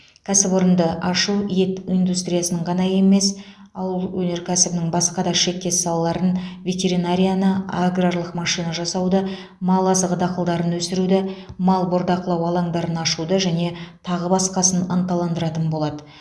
кәсіпорынды ашу ет индустриясының ғана емес ауыл өнеркәсібінің басқа да шектес салаларын ветеринарияны аграрлық машина жасауды мал азығы дақылдарын өсіруді мал бордақылау алаңдарын ашуды және тағы басқасын ынталандыратын болады